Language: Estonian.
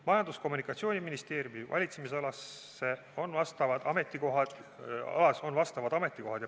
Majandus- ja Kommunikatsiooniministeeriumi valitsemisalas on vastavad ametikohad ja pädevus juba loodud.